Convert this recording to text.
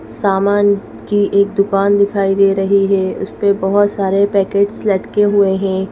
सामान की एक दुकान दिखाई दे रही है उस पे बहुत सारे पैकेट्स लटके हुए हैं।